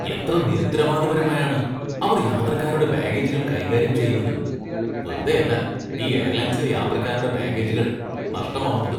എത്ര നിരുത്തരവാദപരമായാണ് അവര്‍ യാത്രക്കാരുടെ ബാഗേജുകള്‍ കൈകാര്യം ചെയ്യുന്നത്, വെറുതെയല്ല ഈ എയര്‍ലൈന്‍സിലെ യാത്രക്കാരുടെ ബാഗേജുകള്‍ നഷ്ടമാവുന്നത്.